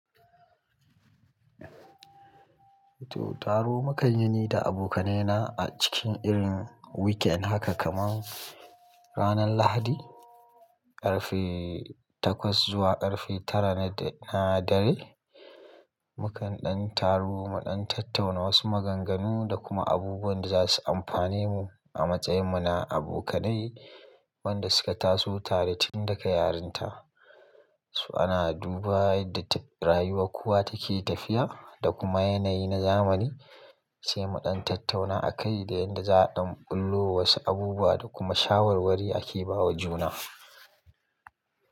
Taro mukan yi ni da abokanai na a cikin irin weekend haka kaman ranar Lahadi ƙarfe takwas zuwa ƙarfe tara na dare. Mukan ɗan taru mu ɗan tattauna wasu maganganu da kuma abubuwan da za su amfane mu a matsayin mu na abokanai. Wanda suka taso tare tun daga yarinta. So ana duba yanda rayuwar kowa take tafiya da kuma yanayi na zamani, sai mu ɗan tattauna a kai da yanda za a ɗan ɓullo wa wasu abubuwa da kuma shawarwari da ake bawa juna.